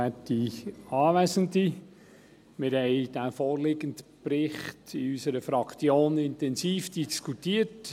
Wir haben den vorliegenden Bericht in unserer Fraktion intensiv diskutiert;